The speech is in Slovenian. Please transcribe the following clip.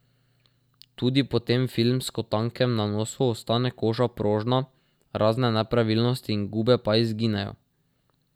Tudi po tem filmsko tankem nanosu ostane koža prožna, razne nepravilnosti in gube pa izginejo.